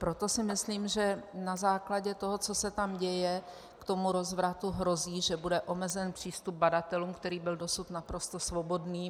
Proto si myslím, že na základě toho, co se tam děje, k tomu rozvratu, hrozí, že bude omezen přístup badatelům, který byl dosud naprosto svobodný.